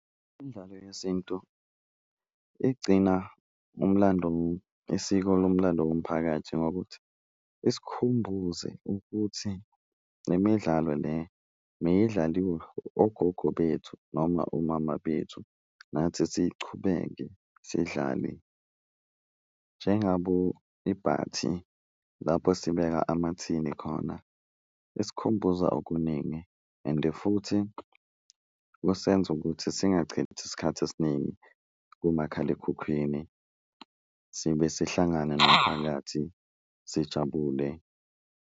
Imidlalo yesintu igcina umlando isiko lomlando womphakathi ngokuthi isikhumbuze ukuthi le midlalo le meyidlaliwa ogogo bethu noma omama bethu, nathi siyichubeke sidlale. Njengabo ibhathi, lapho sibeka amathini khona isikhumbuza okuningi, ende futhi kusenza ukuthi singachithi isikhathi esiningi kumakhalekhukhwini sibe sihlangana nomphakathi sijabule.